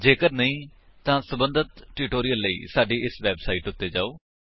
ਜੇਕਰ ਨਹੀਂ ਤਾਂ ਸਬੰਧਤ ਟਿਊਟੋਰਿਅਲ ਲਈ ਸਾਡੀ ਇਸ ਵੇਬਸਾਈਟ ਉੱਤੇ ਜਾਓ